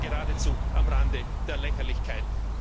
Das ist ja geradezu am Rande der Lächerlichkeit.